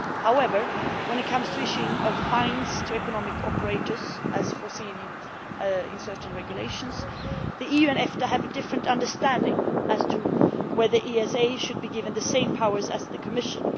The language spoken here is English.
However, when it comes to the issuing of fines to economic operators, as foreseen in certain regulations, the EU and EFTA have a different understanding as to whether the ESA should be given the same powers as the Commission.